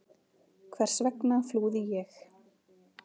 Hvers vegna flúði ég?